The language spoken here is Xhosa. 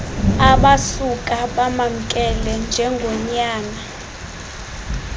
abasuka bamamkela njengonyana